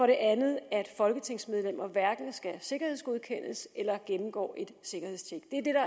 det andet at folketingsmedlemmer hverken skal sikkerhedsgodkendes eller gennemgår et sikkerhedstjek